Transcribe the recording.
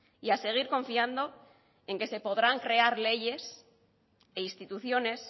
y a seguir confiando en que se podrán crear leyes e instituciones